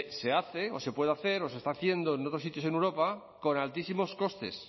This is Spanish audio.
se hace o se puede hacer o se está haciendo en otros sitios en europa con altísimos costes